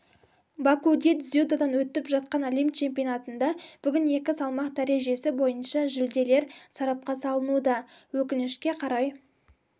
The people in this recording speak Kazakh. бакуде дзюдодан өтіп жатқан әлем чемпионатында бүгін екі салмақ дәрежесі бойынша жүлделер сарапқа салынуда өкінішке қарай